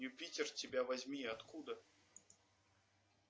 юпитер тебя возьми откуда